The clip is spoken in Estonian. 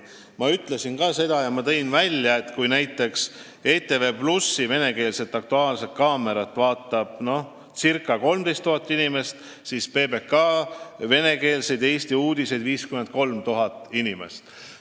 Ma tõin juba välja selle, et kui näiteks ETV+ venekeelset "Aktuaalset kaamerat" vaatab circa 13 000 inimest, siis PBK venekeelseid Eesti uudiseid 53 000 inimest.